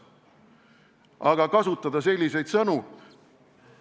Aga kasutada selliseid sõnu?